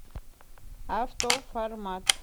автоформат